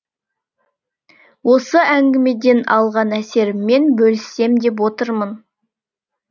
осы әңгімеден алған әсеріммен бөліссем деп отырмын